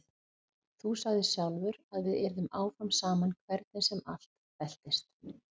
Þú sagðir sjálfur að við yrðum áfram saman hvernig sem allt veltist.